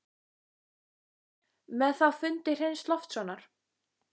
Lillý: Með þá fundi Hreins Loftssonar?